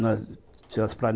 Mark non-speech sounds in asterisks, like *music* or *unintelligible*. Nós *unintelligible*